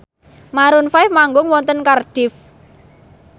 Maroon 5 manggung wonten Cardiff